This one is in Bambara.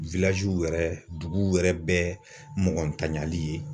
yɛrɛ duguw yɛrɛ bɛɛ mɔgɔ ntanyali ye.